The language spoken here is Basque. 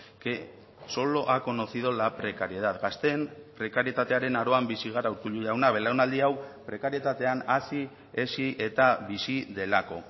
que solo ha conocido la precariedad gazteen prekarietatearen aroan bizi gara urkullu jauna belaunaldi hau prekarietatean hazi hezi eta bizi delako